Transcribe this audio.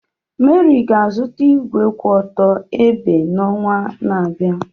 Mary ga-azụta igwe kwụ otu ebe n'ọnwa na-abịa.